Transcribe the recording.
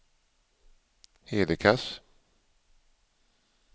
Hedekas